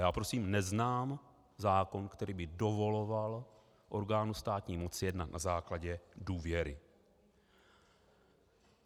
Já prosím neznám zákon, který by dovoloval orgánu státní moci jednat na základě důvěry.